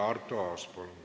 Arto Aas, palun!